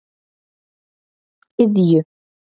Iðju